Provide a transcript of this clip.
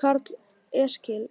Karl Eskil: